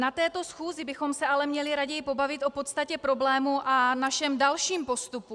Na této schůzi bychom se ale raději měli pobavit o podstatě problému a našem dalším postupu.